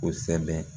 Kosɛbɛ